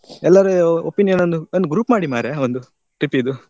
Speaker 1: ಎಲ್ಲರು opinion ಒಂದು, ಒಂದು group ಮಾಡಿ ಮಾರ್ರೆ ಒಂದು trip ಇದ್ದು.